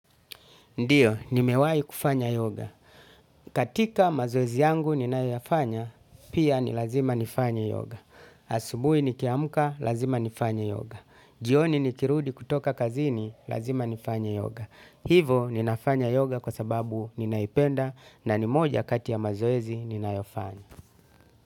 Ndiyo, nimewai kufanya yoga. Katika mazoezi yangu ninayofanya, pia ni lazima nifanya yoga. Asubuhi nikiamuka, lazima nifanye yoga. Jioni nikirudi kutoka kazini, lazima nifanye yoga. Hivo, ninafanya yoga kwa sababu ninaipenda na ni moja kati ya mazoezi ninayofanya.